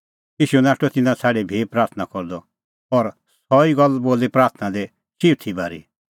ईशू नाठअ तिन्नां छ़ाडी भी प्राथणां करदअ और सह ई गल्ल बोली प्राथणां दी चिऊथी बारी